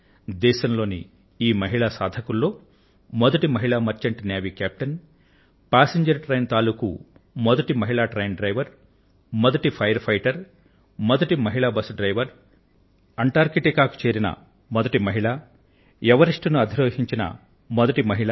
దేశం లోని ఈ మహిళా సాధకుల్లో మొదటి మహిళా merchant navy captain passenger train తాలూకూ మొదటి మహిళా ట్రైన్ డ్రైవర్ మొదటి అగ్నిమాపక సిబ్బంది ఫైర్ ఫైటర్ మొదటి మహిళా బస్ డ్రైవర్ అంటార్కిటికా చేరిన మొదటి మహిళ ఎవరెస్టు ను అధిరోహించిన మొదటి మహిళ